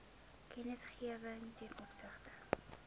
kennisgewing ten opsigte